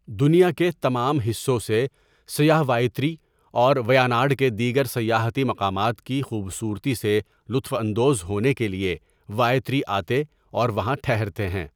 دنیا کے تمام حصوں سے سیاح وائتری اور ویاناڈ کے دیگر سیاحتی مقامات کی خوبصورتی سے لطف اندوز ہونے کے لیے وائتری آتے اور وہاں ٹھہرتے ہیں۔